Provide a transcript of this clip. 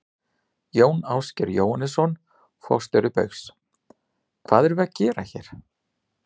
Jón Ásgeir Jóhannesson, forstjóri Baugs: Hvað erum við að gera hér?